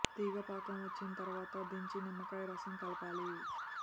తీగ పాకం వచ్చిన తరువాత దించి నిమ్మకాయ రసం కలపాలి